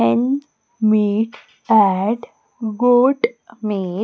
Hen meet and good me --